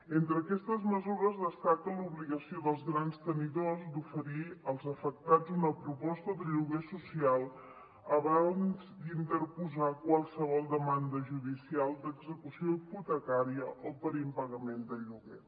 entre aquestes mesures destaca l’obligació dels grans tenidors d’oferir als afectats una proposta de lloguer social abans d’interposar qualsevol demanda judicial d’execució hipotecària o per impagament del lloguer